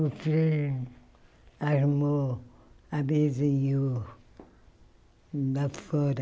O Freire armou a mesa e eu... lá fora.